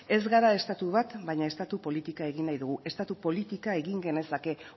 ez gara estatu bat baina estatu politika egin nahi dugu estatu politika egin genezake